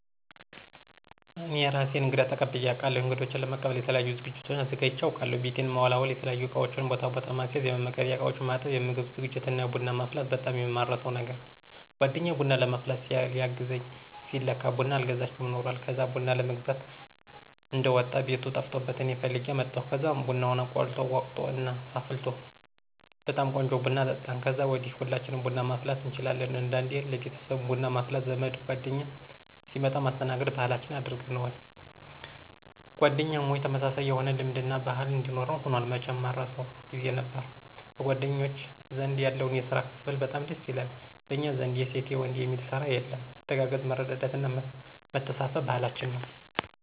እኔ እራሴ እንግዳ ተቀብየ አቃለሁ። እንግዶቸን ለመቀበል የተለያዩ ዝግጅቶችን አዘጋጅቸ አቃለሁ። ቤቴን መወላወል፣ የተለያዩ እቃወችን ቦታ ቦታ ማስያዝ፣ የመመገቢያ እቃወችን ማጠብ፣ የምግብ ዝግጅት እና ቡና ማፍላት በጣም የማረሳው ነገር! ጓደኛየ ቡና ለማፍላት ሊያገዘኝ ሲል ለካ ቡና አልገዝቸም ኑሯል። ከዛ ቡና ለመግዛት እንደወጣ ቤቱ ጠፍቶበት እኔ ፈልጌ አመጣሁ። ከዛም ቡናውን ቆልቶ፣ ወቅጦ እና አፍልቶ በጣም ቆንጆ ቡና አጠጣን። ከዛ ወዲ ሁላችንም ቡና ማፍላት እንችላለን። አንዳንዴ ለቤተሰብም ቡና ማፍላት ዘመድ ጓደኛ ሲመጣ ማስተናገድ ባህላችን አድርገነውል። ጓደኛሞች ተመሳሳይ የሆነ ልምድ እና ባህል እንዲኖረን ሁኗል። መቸም ማረሳው! ጊዜ ነበር። በጓደኞቸ ዘንድ ያለው የስራ ክፍፍል በጣም ደስ ይላል። በኛ ዘንድ የሴት የወንድ የሚል ስራ የለም። መተጋገዝ፣ መረዳዳት እና መተሳሰብ ባህላችን ነው።